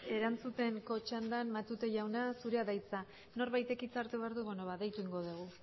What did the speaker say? erantzuteko txandan matute jauna zurea da hitza norbaitek hitza hartu behar du deitu egingo dugu